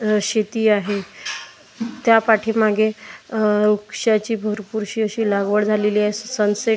शेती आहे त्या पाठीमागे अ वृक्षाची भरपूरशी अशी लागवड झालेली आहे सनसेट --